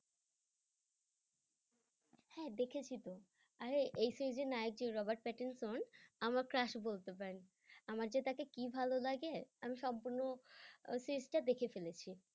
হ্যাঁ দেখেছি তো আরে এই series এর নায়ক যে রবার্ট প্যাটিনসন আমার crush বলতে পারেন, আমার যে তাকে কি ভালো লাগে আমি সম্পূর্ণ series তা দেখে ফেলেছি।